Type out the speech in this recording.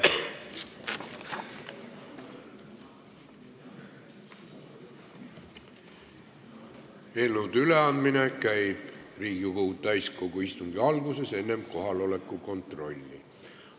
Eelnõude üleandmine käib Riigikogu täiskogu istungi alguses enne kohaloleku kontrolli.